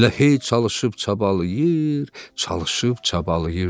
Elə hey çalışıb-çabalayır, çalışıb-çabalayırdı.